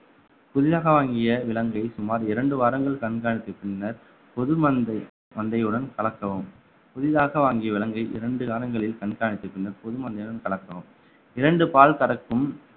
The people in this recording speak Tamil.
புதிதாக வாங்கிய விலங்கை சுமார் இரண்டு வாரங்கள் கண்காணித்த பின்னர் பொது மந்தை மந்தையுடன் கலக்கவும் புதிதாக வாங்கிய விலங்கை இரண்டு காலங்களில் கண்காணித்த பின்னர் பொது மந்தையுடன் கலக்கவும் இரண்டு பால் கறக்கும்